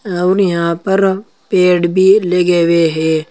और यहां पर पेड़ भी लगे हुए हैं।